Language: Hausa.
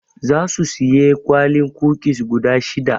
Zasu siyi kwalin kukis guda shida.